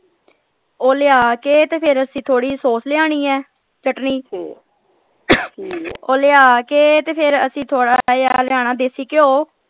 ਉਹ ਲਿਆ ਕੇ ਤੇ ਫੇਰ ਅਸੀਂ ਥੋੜੀ sauce ਲਿਆਉਣੀ ਹੈ ਚਟਨੀ ਉਹ ਲਿਆ ਕੇ ਤੇ ਫੇਰ ਅਸੀਂ ਥੋੜਾ ਜਿਹਾ ਲਿਆਉਣਾ ਦੇਸੀ ਘਿਓ।